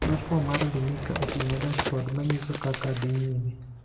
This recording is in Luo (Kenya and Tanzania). Platform mar Elimika oting'o dashbord manyiso kaka dhii nyime.